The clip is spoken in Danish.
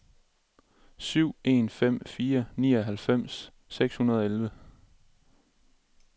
syv en fem fire nioghalvfems seks hundrede og elleve